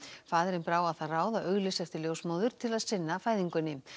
faðirinn brá á það ráð að auglýsa eftir ljósmóður til að sinna fæðingunni